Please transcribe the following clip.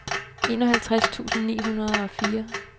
enoghalvtreds tusind ni hundrede og fire